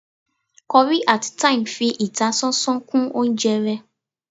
curry atí thyme fi ìtásánsán kún oúnjẹ ré